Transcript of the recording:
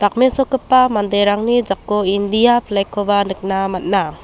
dakmesokgipa manderangni jako india flag-koba nikna man·a.